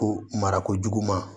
Ko marako juguman